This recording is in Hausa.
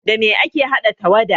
Da me ake haɗa tawada?